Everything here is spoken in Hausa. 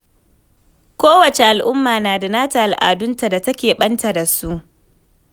Kowace al'umma na da al'adunta da ta keɓanta da su.